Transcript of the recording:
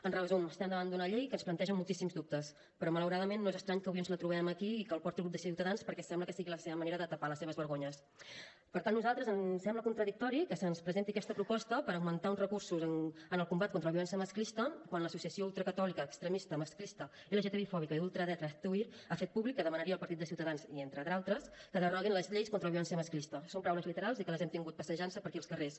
en resum estem davant d’una llei que ens planteja moltíssims dubtes però malauradament no és estrany que avui ens la trobem aquí i que la porti el grup de ciutadans perquè sembla que sigui la seva manera de tapar les seves vergonyesper tant a nosaltres ens sembla contradictori que se’ns presenti aquesta proposta per augmentar uns recursos en el combat contra la violència masclista quan l’associació ultracatòlica extremista masclista lgtbi fòbica i d’ultradreta hazte oír ha fet públic que demanaria al partit de ciutadans i entre d’altres que deroguin les lleis contra la violència masclista són paraules literals i que les hem tingut passejant se per aquí els carrers